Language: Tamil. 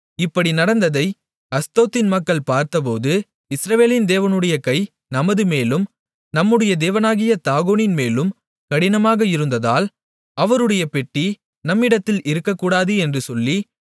இப்படி நடந்ததை அஸ்தோத்தின் மக்கள் பார்த்தபோது இஸ்ரவேலின் தேவனுடைய கை நமதுமேலும் நம்முடைய தேவனாகிய தாகோனின்மேலும் கடினமாக இருந்ததால் அவருடைய பெட்டி நம்மிடத்தில் இருக்ககூடாது என்று சொல்லி